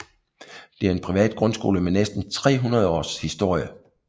Det er en privat grundskole med næsten 300 års historie